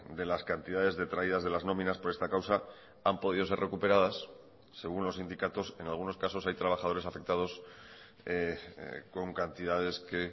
de las cantidades detraídas de las nominas por esta causa han podido ser recuperadas según los sindicatos en algunos casos hay trabajadores afectados con cantidades que